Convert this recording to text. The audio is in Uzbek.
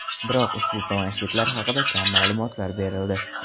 Biroq ushbu planshetlar haqida kam ma’lumotlar berildi.